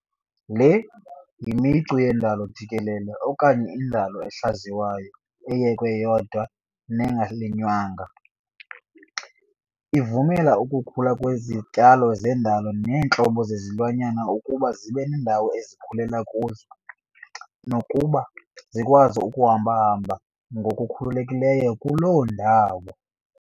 Le yimicu yendalo jikelele okanye indalo ehlaziywayo eyekwe yodwa nengalinywanga. Ivumela ukukhula kwezityalo zandalo neentlobo zezilwanyana ukuba zibe nendawo ezikhula kuzo nokuba zikwazi ukuhamba-hamba ngokukhululekileyo kuloo ndawo.